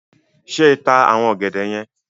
Ṣé ta àwọn ọ̀gẹ̀dẹ̀ yen?